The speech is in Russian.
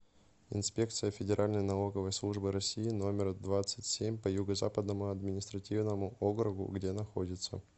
инспекция федеральной налоговой службы россии номер двадцать семь по юго западному административному округу где находится